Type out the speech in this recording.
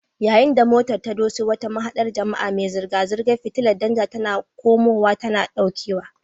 Yayin da motar ta doso wata mahaɗar jama'a, mai zirga-zirgar fitilar danja tana kawowa tana ɗaukewa.